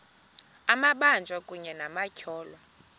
amabanjwa kunye nabatyholwa